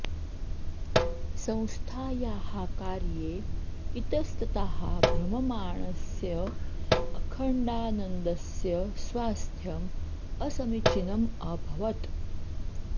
संस्थायाः कार्ये इतस्ततः भ्रममाणस्य अखण्डानन्दस्य स्वास्थ्यम् असमिचीनम् अभवत्